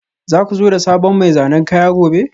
Za ku zo da sabon mai zanen kaya gobe?